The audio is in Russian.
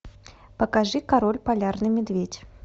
покажи король полярный медведь